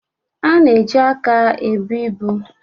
A na-eji aka ebu ibu